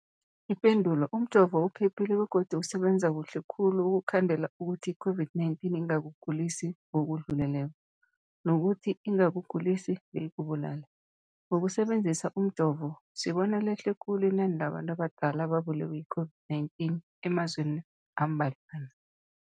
Ipendulo, umjovo uphephile begodu usebenza kuhle khulu ukukhandela ukuthi i-COVID-19 ingakugulisi ngokudluleleko, nokuthi ingakugulisi beyikubulale. Ngokusebenzisa umjovo, sibone lehle khulu inani labantu abadala ababulewe yi-COVID-19 emazweni ambadlwana.